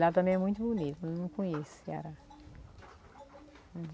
Lá também é muito bonito, eu não conheço o Ceará.